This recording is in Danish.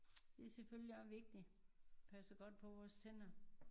Det er selvfølgelig også vigtig at passe godt på vores tænder